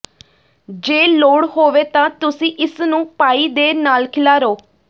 ਜੇ ਲੋੜ ਹੋਵੇ ਤਾਂ ਤੁਸੀਂ ਇਸ ਨੂੰ ਪਾਈ ਦੇ ਨਾਲ ਖਿਲਾਰੋ